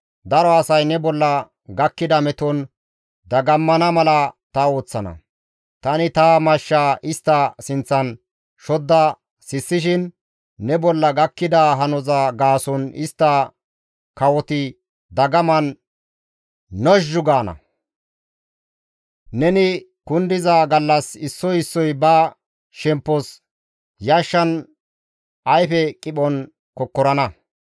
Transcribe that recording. Daro asay ne bolla gakkida meton dagammana mala ta ooththana; tani ta mashshaa istta sinththan shodda seessishin ne bolla gakkida hanoza gaason istta kawoti dagaman nozhzhu gaana; neni kundiza gallas issoy issoy ba shemppos yashshan ayfe qiphon kokkorana.